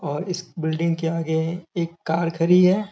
और इस बिल्डिंग के आगे एक कार खरी है।